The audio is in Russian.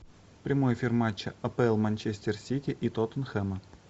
прямой эфир матча апл манчестер сити и тоттенхэма